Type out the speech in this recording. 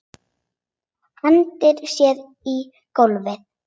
Hendir sér á gólfið.